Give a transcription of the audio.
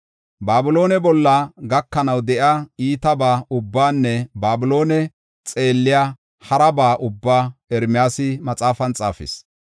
Babiloone bolla gakanaw de7iya iitaba ubbaanne Babiloone xeelliya haraba ubbaa Ermiyaasi maxaafan xaafis.